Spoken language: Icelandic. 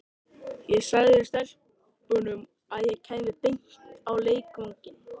Ég sagði stelpunum að ég kæmi beint á leikvanginn.